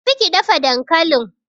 Tafi ki dafa dankalin!